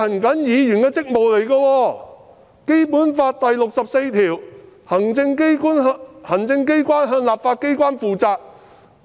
《基本法》第六十四條訂明行政機關向立法機關負責。